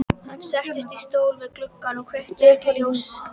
Hann settist í stól við gluggann en kveikti ekki ljós.